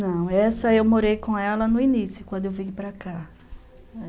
Não, essa eu morei com ela no início, quando eu vim para cá.